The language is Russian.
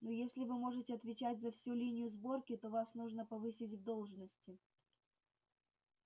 ну если вы можете отвечать за всю линию сборки то вас нужно повысить в должности